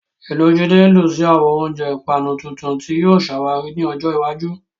Inú Jide dùn sí àwọn oúnjẹ ìpanu tuntun tí yóò ṣàwárí ní ọjọ́ iwájú.